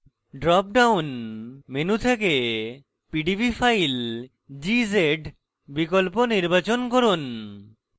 drop down menu থেকে pdb file gz বিকল্প নির্বাচন from